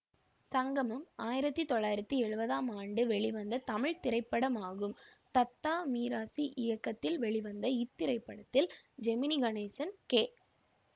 சங்கமம் ஆயிரத்தி தொள்ளாயிரத்தி எழுவதாம் ஆண்டு வெளிவந்த தமிழ் திரைப்படமாகும் தத்தா மிராசி இயக்கத்தில் வெளிவந்த இத்திரைப்படத்தில் ஜெமினி கணேசன் கே